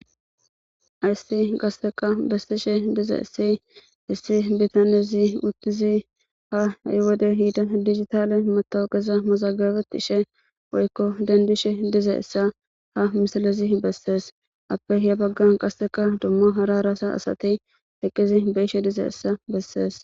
Aysi qasteka bestishe diza issi issi bitanezi uttizi ha he'i wode hiida digitale matawuqeza mazagabeti ishe woykko dendishe diza issa ha misilezi bessees appe ya baggan qasteka dummo hara rasa asati eqqizi beyishe diza essa bessees.